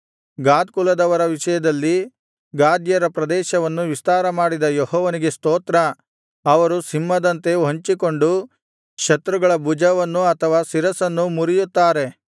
ಗಾದ್ ಕುಲದವರ ವಿಷಯದಲ್ಲಿ ಗಾದ್ಯರ ಪ್ರದೇಶವನ್ನು ವಿಸ್ತಾರಮಾಡಿದ ಯೆಹೋವನಿಗೆ ಸ್ತೋತ್ರ ಅವರು ಸಿಂಹದಂತೆ ಹೊಂಚಿಕೊಂಡು ಶತ್ರುಗಳ ಭುಜವನ್ನೂ ಅಥವಾ ಶಿರಸ್ಸನ್ನೂ ಮುರಿಯುತ್ತಾರೆ